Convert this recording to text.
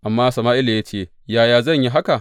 Amma Sama’ila ya ce, Yaya zan yi haka?